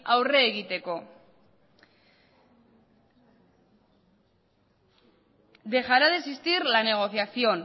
aurre egiteko dejará de existir la negociación